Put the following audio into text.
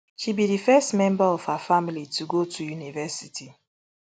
she be di first member of her family to go to university